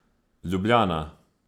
Ljubljana.